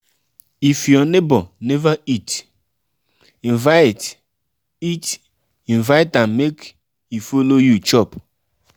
if your neighbor neva eat invite eat invite am make e follow you chop. um